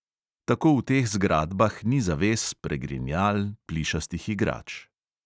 Tako v teh zgradbah ni zaves, pregrinjal, plišastih igrač …